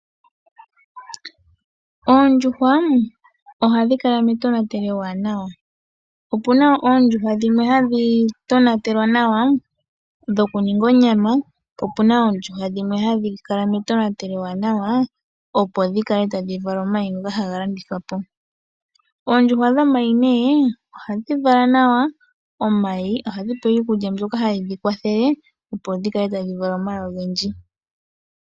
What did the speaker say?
Oondjuhwa ohadhi kala metonatelo ewanawa. Opuna wo oondjuhwa dhimwe hadhi tonatelwa nawa dhoku ninga onyama, po opuna wo oondjuhwa dhimwe hadhi kala metonatelo ewanawa opo dhi kale tadhi vala omayi ngoka haga landithwa po. Oondjuhwa dhomayi nee ohadhi vala nawa omayi. Ohadhi pewa iikulya mbyoka haye dhi kwathele opo dhi kale tadhi vala omayi ogendji.